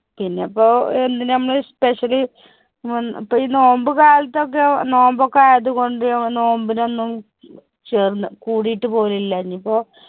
പിന്നെപ്പോ എന്തിന് ഞമ്മള് special ഇപ്പോ ഈ നോമ്പ് കാലത്തൊക്കെ നോമ്പ് ഒക്കെ ആയതുകൊണ്ട് നോമ്പിനൊന്നും ചേർന്ന കൂടിയിട്ട് പോലു ഇല്ല. ഇനിയിപ്പോ